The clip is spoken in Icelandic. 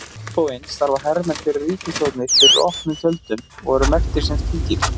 Á hinn bóginn starfa hermenn fyrir ríkisstjórnir fyrir opnum tjöldum og eru merktir sem slíkir.